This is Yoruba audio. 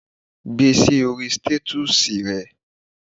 Gbe sí orí stètọ́sì e